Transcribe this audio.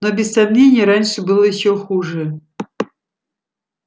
но без сомнения раньше было ещё хуже